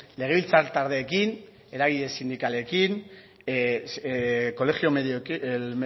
legebiltzartaldeekin eragile sindikalekin